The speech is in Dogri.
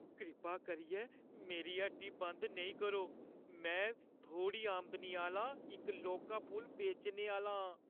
कृपा करियै मेरी हट्टी बंद नेईं करो। में थोह्‌ड़ी आमदनी आह्‌ला इक लौह्का फुल बेचने आह्‌ला आं ।